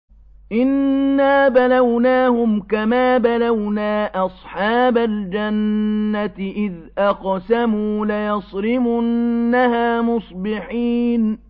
إِنَّا بَلَوْنَاهُمْ كَمَا بَلَوْنَا أَصْحَابَ الْجَنَّةِ إِذْ أَقْسَمُوا لَيَصْرِمُنَّهَا مُصْبِحِينَ